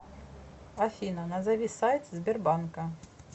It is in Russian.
афина назови сайт сбербанка